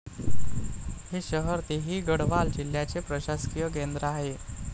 हे शहर तेहरी गढ़वाल जिल्ह्याचे प्रशासकीय केंद्र आहे.